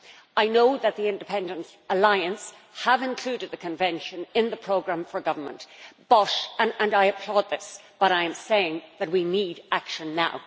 I know that the Independent Alliance have included the Convention in the programme for government, and I applaud this, but I am saying that we need action now.